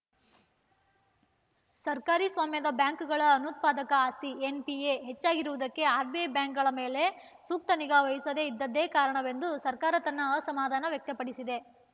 ಸರ್ಕಾರಿ ಸ್ವಾಮ್ಯದ ಬ್ಯಾಂಕ್‌ಗಳ ಅನುತ್ಪಾದಕ ಆಸ್ತಿ ಎನ್‌ಪಿಎ ಹೆಚ್ಚಾಗಿರುವುದಕ್ಕೆ ಆರ್‌ಬಿಐ ಬ್ಯಾಂಕ್‌ಗಳ ಮೇಲೆ ಸೂಕ್ತ ನಿಗಾ ವಹಿಸದೇ ಇದ್ದದ್ದೇ ಕಾರಣವೆಂದು ಸರ್ಕಾರ ತನ್ನ ಅಸಮಾಧಾನ ವ್ಯಕ್ತಪಡಿಸಿದೆ